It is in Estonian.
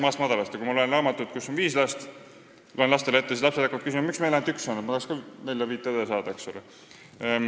Ja kui ma loen lapsele ette raamatut, kus on viis last, siis hakkab minu oma küsima, miks meil ainult üks laps on, ma tahaks ka nelja-viit õde saada.